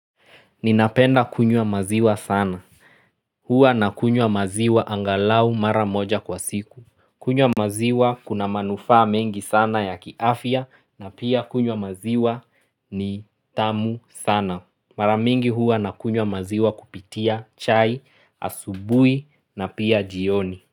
Ninapenda kunywa maziwa sana. Huwa na kunywa maziwa angalau mara moja kwa siku. Kunywa maziwa kuna manufaa mengi sana ya kiafya na pia kunywa maziwa ni tamu sana. Mara mingi huwa nakunywa maziwa kupitia chai, asubuhi na pia jioni.